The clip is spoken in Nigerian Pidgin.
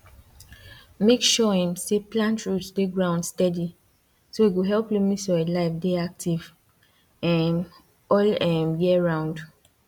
make sure um say plant root dey ground steady so e go help loamy soil life dey active um all um year round